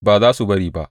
Ba za su bari ba!